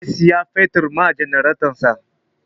Zai sayi fetur wa janaretansa